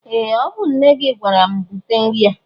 Ee! Ọ bụ nne gị gwara m bute nri a.